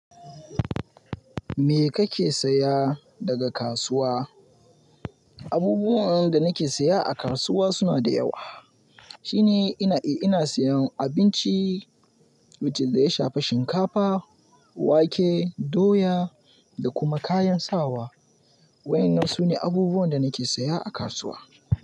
Me kake saya daga kasuwa? Abubuwan da nake saya a kasuwa suna da yawa, shine ina, eh ina sayan abinci wanda ya shafa shinkafa, wake, doya da kuma kayan sawa. Waɗannan sune abubuwan da nake saya a kasuwa.